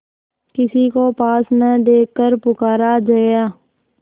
किसी को पास न देखकर पुकारा जया